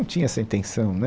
Não tinha essa intenção né.